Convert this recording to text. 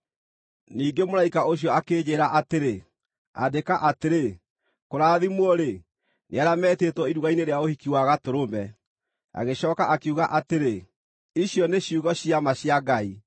Ningĩ mũraika ũcio akĩnjĩĩra atĩrĩ, “Andĩka atĩrĩ: ‘Kũrathimwo-rĩ, nĩ arĩa metĩtwo iruga-inĩ rĩa ũhiki wa Gatũrũme!’ ” Agĩcooka akiuga atĩrĩ, “Icio nĩ ciugo cia ma cia Ngai.”